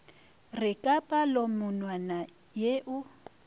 re ka palomonwana ye o